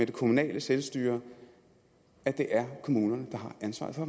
det kommunale selvstyre at det er kommunerne der har ansvaret for